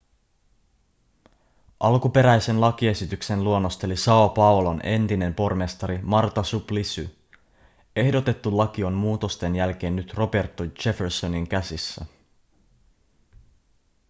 alkuperäisen lakiesityksen luonnosteli são paulon entinen pormestari marta suplicy. ehdotettu laki on muutosten jälkeen nyt roberto jeffersonin käsissä